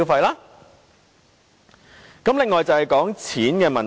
另一點是關於錢的問題。